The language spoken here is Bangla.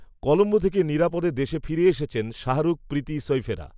কলম্বো থেকে নিরাপদে দেশে ফিরে এসেছেন, শাহরুখ, প্রীতি সইফেরা